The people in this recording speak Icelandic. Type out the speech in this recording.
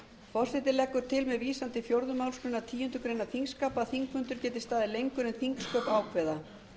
forseti leggur til með vísan til fjórðu málsgreinar tíundu greinar þingskapa að þingfundur geti staðið lengur en þingsköp ákveða